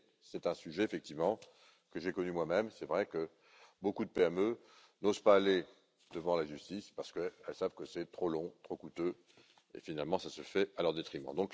Mais c'est un sujet, effectivement, que j'ai connu moi même. Il est vrai que beaucoup de PME n'osent pas aller devant la justice car elles savent que c'est trop long, trop coûteux et que, finalement, cela se fait à leur détriment.